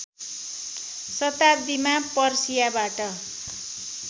शताब्दीमा पर्सियाबाट